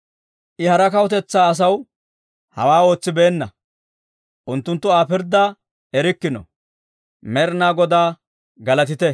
I hara kawutetsaa asaw, hawaa ootsibeenna; unttunttu Aa pirddaa erikkino. Med'inaa Godaa galatite!